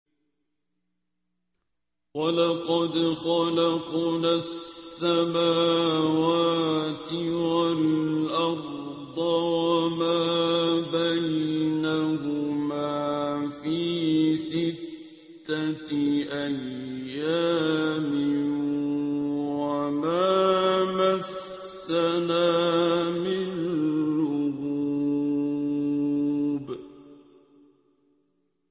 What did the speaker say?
وَلَقَدْ خَلَقْنَا السَّمَاوَاتِ وَالْأَرْضَ وَمَا بَيْنَهُمَا فِي سِتَّةِ أَيَّامٍ وَمَا مَسَّنَا مِن لُّغُوبٍ